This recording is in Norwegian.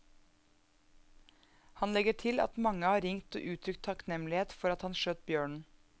Han legger til at at mange har ringt og uttrykt takknemlighet for at han skjøt bjørnen.